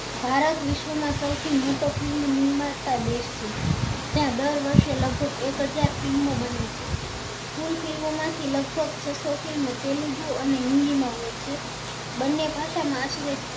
ભારત વિશ્વ માં સૌથી મોટો film નિર્માતા દેશ છે જ્યાં દર વર્ષે લગભગ એક હજાર film ઓ બને છે કુલ film માં થી લગભગ છસો fim તેલુગુ અને હિન્દી માં હોય છે બન્ને ભાષા માં આખરે